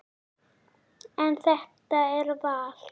En þetta er val.